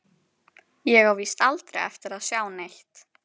Ég á víst aldrei eftir að sjá neitt.